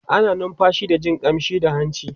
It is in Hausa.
ana numfashi da Jin ƙamshi da hanci